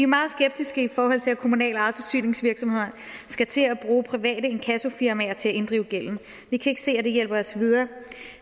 meget skeptiske i forhold til at kommunalt ejede forsyningsvirksomheder skal til at bruge private inkassofirmaer til at inddrive gælden vi kan ikke se at det hjælper os videre